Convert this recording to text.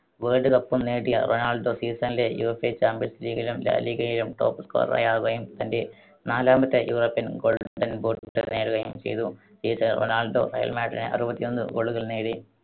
World കപ്പും നേടിയ Ronaldo season ലെ യുവേഫ champions league ലും ലാ ലീഗയിലും top scorer ആകുകയും തന്റെ നാലാമത്തെ യൂറോപ്യൻ ഗോൾഡൻ ബൂട്ട് നേടുകയും ചെയ്തു. റൊണാൾഡോ റയൽ മാഡ്രിഡിനായി അറുപത്തിയൊന്ന് goal കൾ നേടി.